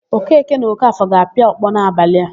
Okeke na Ọkafọ ga-apịa ọkpọ n'abalị a.